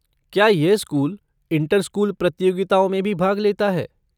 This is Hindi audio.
क्या यह स्कूल, इंटर स्कूल प्रतियोगिताओं में भी भाग लेता है?